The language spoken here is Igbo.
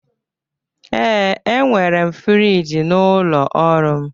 Ee, enwere m friji n'ụlọ ọrụ m